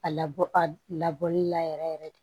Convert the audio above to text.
A labɔ a labɔli la yɛrɛ yɛrɛ